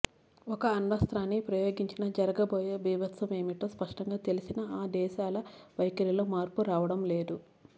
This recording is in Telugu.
ఒక్క అణ్వస్త్రాన్ని ప్రయోగించినా జరగబోయే బీభత్సమేమిటో స్పష్టంగా తెలిసినా ఆ దేశాల వైఖరిలో మార్పు రావడం లేదు